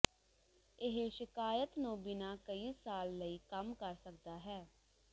ਇਹ ਸ਼ਿਕਾਇਤ ਨੂੰ ਬਿਨਾ ਕਈ ਸਾਲ ਲਈ ਕੰਮ ਕਰ ਸਕਦਾ ਹੈ